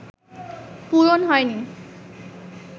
পূরণ হয়নি